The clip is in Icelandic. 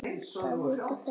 Það vita þær hjá